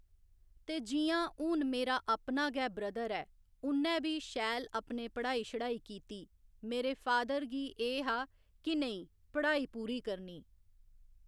ते जि'यां हून मेरा अपना गै ब्रदर ऐ उन्नै बी शैल अपने पढ़ाई शढ़ाई कीती मेरे फादर गी एह् हा कि नेईं पढ़ाई पूरी करनी